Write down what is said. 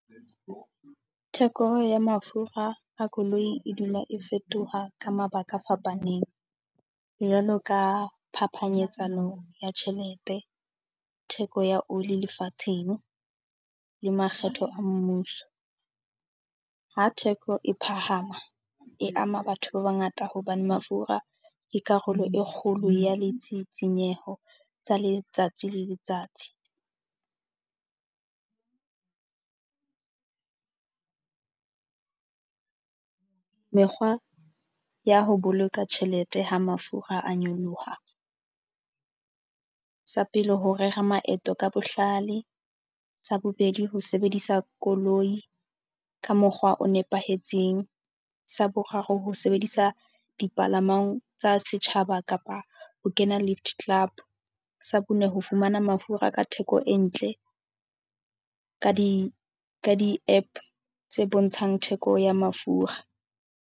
Theko ya mafura a koloi e dula e fetoha ka mabaka a fapaneng jwalo ka phapanyetsano ya tjhelete. Theko ya oli lefatsheng, le makgetho a mmuso. Ha theko e phahama e ama batho ba bangata hobane mafura ke karolo e kgolo ya ditshitshinyeho tsa letsatsi le letsatsi. Mekgwa ya ho boloka tjhelete ha mafura a nyoloha. Sa pele, hore rera maeto ka bohlale. Sa bobedi, ho sebedisa koloi ka mokgwa o nepahetseng. Sa boraro, ho sebedisa dipalamang tsa setjhaba kapa ho kena lift club. Sa bone, ho fumana mafura ka theko e ntle ka di ka di-App tse bontshang theko ya mafura.